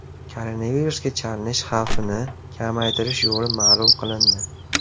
Koronavirusga chalinish xavfini kamaytirish yo‘li ma’lum qilindi.